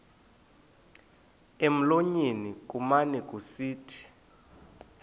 emlonyeni kumane kusithi